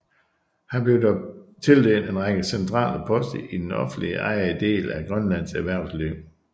Han blev dog tildelt en række centrale poster i den offentligt ejede del af Grønlands erhvervsliv